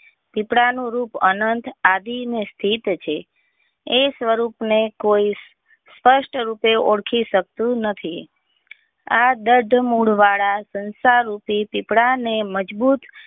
સૂપડા નું રૂપ અનંત આદિ ને સ્થિત છે એ સ્વરૂપ ને કોઈ સપષ્ટ રીતે ઓળખી શકતું નથી આ બદ્ધ મૂળ વાળા સંસાર રૂપી ઝિપડા ને મજબૂત.